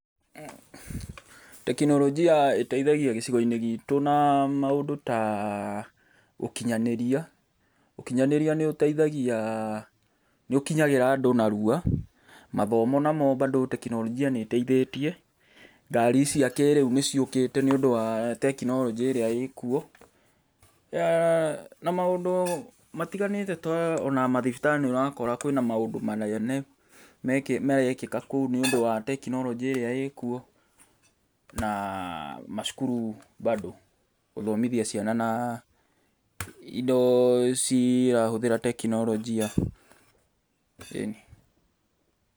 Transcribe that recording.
Teknolojia ĩteithagia gĩcigo-inĩ gitũ na maũndũ ta ũkinyanĩria, ũkinyanĩria nĩũtethagia nĩũkinyagĩra andũ narua. Mathomo namo bado teknolojia nĩĩtethĩtie. Ngari cia kĩrĩu nĩciũkĩte nĩũndũ wa tekinoronjĩ ĩrĩa ĩkuo, na maũndũ matiganĩte ta ona mathibitarĩ nĩũrakora kwĩna maũndũ manene marekĩka kũu nĩũndũ wa teknoronjĩ ĩrĩa ĩkuo, na macukuru bado gũthomithia ciana na indo cirahũthĩra teknolojia. Ĩni.